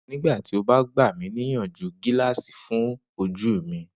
Nigbati o ba gba mi niyanju gilaasi fun oju mi?